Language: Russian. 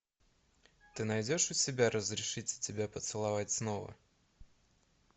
ты найдешь у себя разрешите тебя поцеловать снова